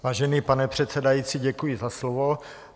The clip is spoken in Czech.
Vážený pane předsedající, děkuji za slovo.